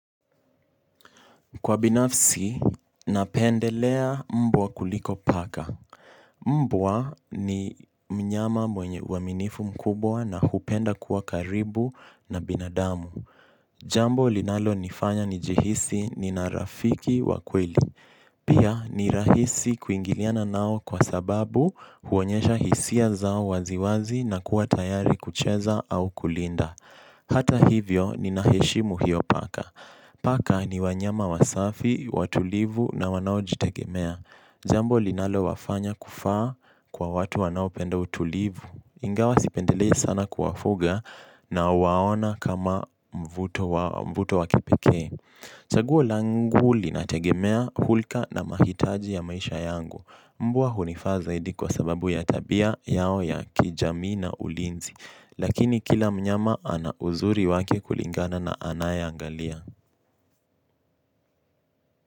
Kwa binafsi, napendelea mbwa kuliko paka. Mbwa ni mnyama mwenye uaminifu mkubwa na hupenda kuwa karibu na binadamu. Jambo linalo nifanya njihisi nina rafiki wa kweli. Pia ni rahisi kuingiliana nao kwa sababu huonyesha hisia zao waziwazi na kuwa tayari kucheza au kulinda. Hata hivyo nina heshimu hiyo paka. Paka ni wanyama wasafi, watulivu na wanao jitegemea. Jambo linalo wafanya kufaa kwa watu wanao penda utulivu. Ingawa sipendelei sana kuwafuga nawaona kama mvuto wa kipekee. Chaguo langu linategemea hulka na mahitaji ya maisha yangu. Mbwa hunifaza zaidi kwa sababu ya tabia yao ya kijamii na ulinzi. Lakini kila mnyama ana uzuri wake kulingana na anaye angalia.